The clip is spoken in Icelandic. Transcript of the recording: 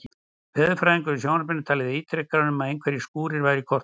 Veðurfræðingur í sjónvarpinu talaði ítrekað um að einhverjir skúrir væru í kortunum.